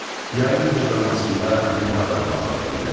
Yayın cırramasında nə bayrambazlıqdır belə.